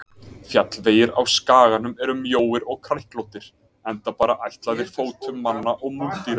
Fjallvegir á skaganum eru mjóir og kræklóttir, enda bara ætlaðir fótum manna og múldýra.